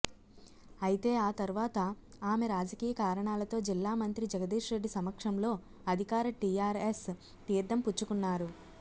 అయితే ఆ తర్వాత ఆమె రాజకీయ కారణాలతో జిల్లా మంత్రి జగదీష్ రెడ్డి సమక్షంలో అధికార టీఆర్ఎస్ తీర్థం పుచ్చుకున్నారు